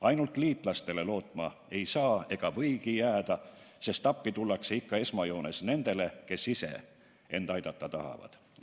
Ainult liitlastele loota ei või, sest appi tullakse ikka esmajoones nendele, kes ise end aidata tahavad.